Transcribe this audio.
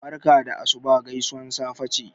barka da asuba gaisuwar safe ce